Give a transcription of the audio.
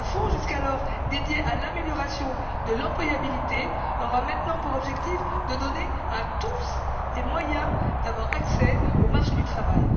Jusqu'alors dédié à l'amélioration de l'employabilité, ce fonds aura maintenant pour objectif de donner à tous les moyens d'accéder au marché du travail.